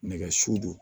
Nɛgɛ siw don